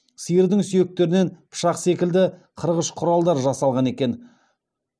сиырдың сүйектерінен пышақ секілді қырғыш құралдар жасалған екен